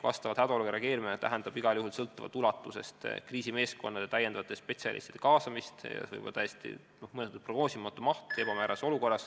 Hädaolukorrale reageerimine tähendab igal juhul – sõltuvalt ulatusest – kriisimeeskondade täiendavate spetsialistide kaasamist ja see on ju etteprognoosimatu maht.